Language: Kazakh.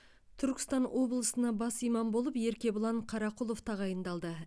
түркістан облысына бас имам болып еркебұлан қарақұлов тағайындалды